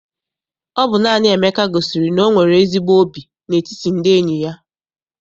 Ọ bụ naanị Emeka gosiri na o nwere ezigbo óbì n'etiti ndị enyi ya.